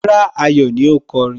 Rárá, Ayọ̀ ni ó kọrin